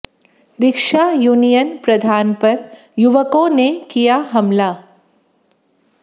rickshaw union प्रधान पर युवकों ने किया हमला